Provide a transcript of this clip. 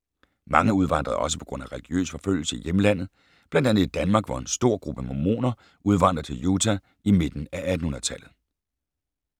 Mange udvandrede også på grund af religiøs forfølgelse i hjemlandet. Blandt andet i Danmark, hvor en stor gruppe mormoner udvandrede til Utah i midten af 1800-tallet.